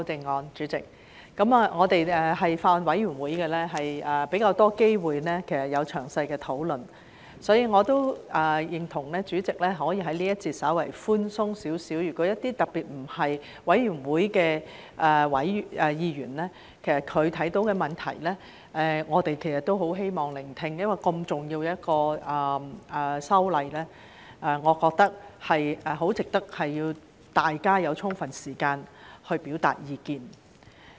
代理主席，我們在法案委員會有較多機會可以詳細討論，所以我也認同代理主席在這一節可以稍為寬鬆，對於一些特別不是法案委員會委員的議員，他們看到的問題，我們都很希望聆聽，因為如此重要的修例，我認為很值得讓大家有充分時間表達意見。